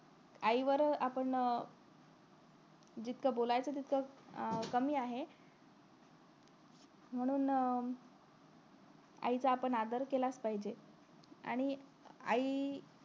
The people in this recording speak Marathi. आईवर आपण जितकं बोलायच अं तितकं कमी आहे म्हणून आईचा आपण आदर केलाच पाहजे आणि आई